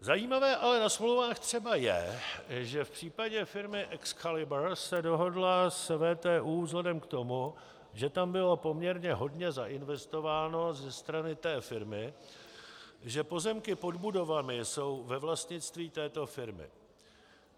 Zajímavé ale na smlouvách třeba je, že v případě firmy EXCALIBUR se dohodla s VTÚ vzhledem k tomu, že tam bylo poměrně hodně zainvestováno ze strany té firmy, že pozemky pod budovami jsou ve vlastnictví této firmy.